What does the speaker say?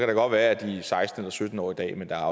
det godt være at de er seksten eller sytten år i dag men der er